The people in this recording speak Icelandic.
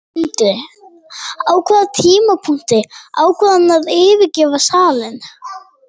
Sindri: Á hvaða tímapunkti ákvað hann að yfirgefa salinn?